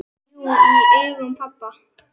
Jú, í augum pabba